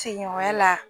Seginwa la